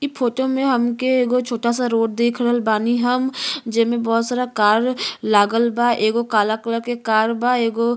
इ फोटो में हमके एगो छोटा सा रोड देख रहल बानी हम जेमें बहुत सारा कार लागल बा एगो काला कलर के कार बा एगो --